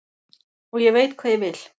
Og ég veit hvað ég vil.